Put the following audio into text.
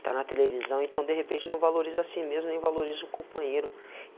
Está na televisão, então, de repente, não valoriza si mesmo, nem valoriza o companheiro.